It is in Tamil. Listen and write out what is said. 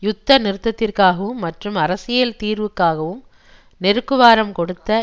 யுத்த நிறுத்தத்திற்காகவும் மற்றும் அரசியல் தீர்வுக்காகவும் நெருக்குவாரம் கொடுத்த